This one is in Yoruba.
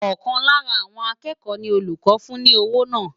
Ọ̀kan lára àwọn akẹ́kọ̀ọ́ ni olùkọ́ fún ní owó náà.